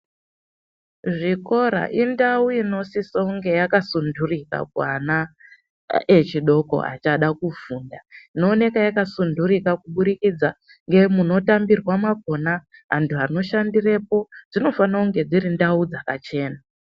Zvikora indau inosisonge yakasunturika kuana aa echidoko achade kufunda Inooneka yakasunturika kuburikidza ngemunotambirwa mwakhona antu anoshandirepo dzofanire kunge dziri ndau dzakachena.